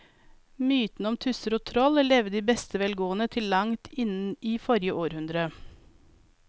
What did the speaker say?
Mytene om tusser og troll levde i beste velgående til langt inn i forrige århundre.